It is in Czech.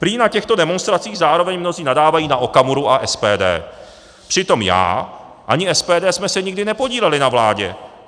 Prý na těchto demonstracích zároveň mnozí nadávají na Okamuru a SPD, přitom já ani SPD jsme se nikdy nepodíleli na vládě.